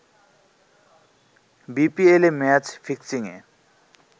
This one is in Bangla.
বিপিএলে ম্যাচ ফিক্সিং য়ে